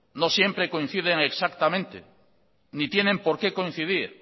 no siempre coinciden exactamente ni tienen porqué coincidir